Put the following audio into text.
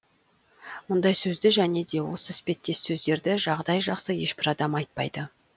мұндай сөзді және де осы іспеттес сөздерді жағдайы жақсы ешбір адам айтпайды